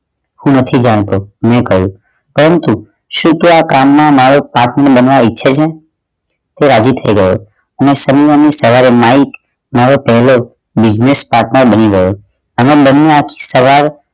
હું નથી જાણતો મૈં કહ્યું પરંતુ શું તું આ કામ માં મારો partner બનવા ઈચ્છે છે તે રાજી થઈ ગયો અને સોમવાર ની સવારે માઇક મારો પ્રિય business partner બની ગયો અમે બંને સવાર